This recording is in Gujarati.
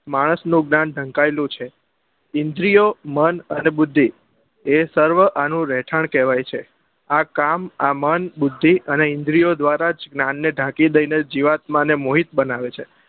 માણસ નું મન ઢંકાયેલું છે ઇન્દ્રિયો મન અને બુદ્ધિ એ સર્વ આનું રહેઠાણ કહેવાય છે આ કામ આ મન અને આ બુદ્ધિ અને ઈન્દ્રીઓ દ્વારા જ જ્ઞાન ને ઢાંકી દઈ ને જીઅવાતમાં ને મોહિત બનાવે છે